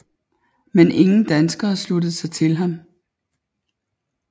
Men ingen danskere sluttede sig til ham